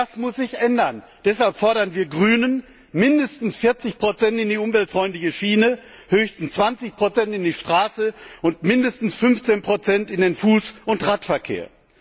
Das muss sich ändern und deshalb fordern wir Grünen mindestens 40 in die umweltfreundliche Schiene, höchstens 20 in die Straße und mindestens 15 in den Fuß und Radverkehr.